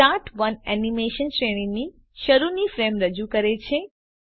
start ઓને animation શ્રેણીની શરૂની ફ્રેમ રજૂ કરે છે